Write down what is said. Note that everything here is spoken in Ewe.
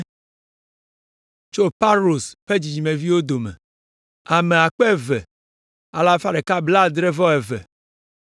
Tso Paros ƒe dzidzimeviwo dome, ame akpe eve alafa ɖeka blaadre-vɔ-eve (2,172).